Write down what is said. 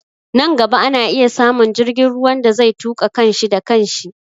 Nan gaba ana iya samun jirgin ruwan da zai tuƙa kan shi da kan shi